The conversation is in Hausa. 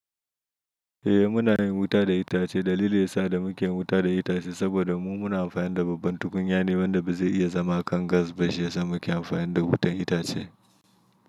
Eh muna yin wuta da itace. Dalili yasa da muke wuta da itace saboda mu muna amfani da babban tukunya Yane wanda ba zai iya zama kan gas ba, shi yasa muke amfani da wutan itace.